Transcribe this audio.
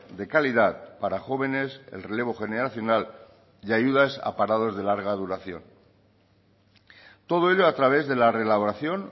de calidad para jóvenes el relevo generacional y ayudas a parados de larga duración todo ello a través de la reelaboración